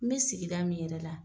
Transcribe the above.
N bɛ sigida min yɛrɛ la.